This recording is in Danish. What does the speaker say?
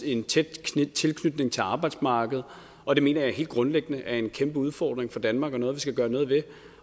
en tæt tilknytning til arbejdsmarkedet og det mener jeg helt grundlæggende er en kæmpe udfordring for danmark og noget vi skal gøre noget ved